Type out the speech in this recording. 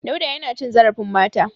Dauda yana cin zarfin mata.